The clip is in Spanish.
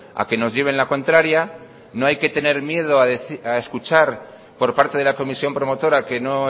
a que nos lleven la contraria no hay que tener miedo a escuchar por parte de la comisión promotora que no